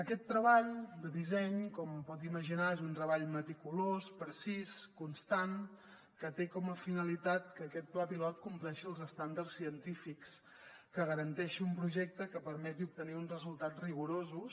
aquest treball de disseny com pot imaginar és un treball meticulós precís constant que té com a finalitat que aquest pla pilot compleixi els estàndards científics que garanteixi un projecte que permeti obtenir uns resultats rigorosos